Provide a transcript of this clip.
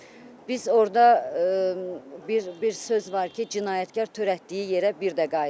Biz orda bir bir söz var ki, cinayətkar törətdiyi yerə bir də qayıdır.